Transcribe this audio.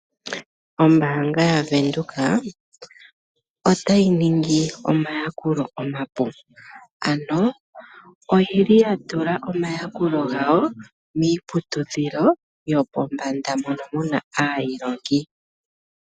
Ombaanga yaVenduka otayi ningi omayakulo omapu. Ano oyi li ya tula omayakulo gawo miiputudhilo yopombanda mono mu na aalongwa.